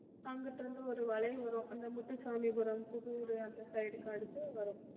அங்கிட்டிருந்து ஒரு வளைவு வரும் அந்த முத்துசாமிபுரம், புதூர் அந்த side க்கு அடுத்து வரும்